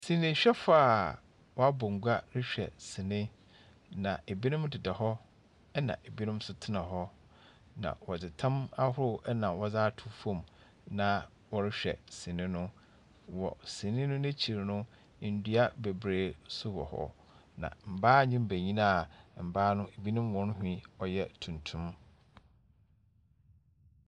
Sinihwɛfoɔ a wɔabɔ ngua rehwɛ sini, na ebinom deda hɔ, ɛnna ebinom nso tena hɔ, na wɔdze tam ahorow na wɔdze ato fam, na wɔrehwɛ sini no. Wɔ sini no n'ekyir no, ndua bebree nso wɔ hɔ, na mbaa ne mbenyin a mbaa no binom hɔn nhwi ɔyɛ tuntum.